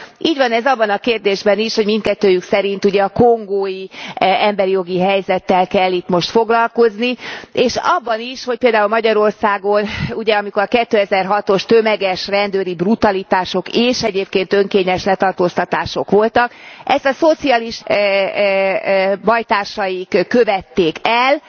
Így van ez abban a kérdésben is, hogy mindkettőjük szerint ugye a kongói emberi jogi helyzettel kell itt most foglalkozni, és abban is, hogy például Magyarországon ugye amikor a 2006 os tömeges rendőri brutalitások és egyébként önkényes letartóztatások voltak, ezt a szocialista bajtársaik követték el.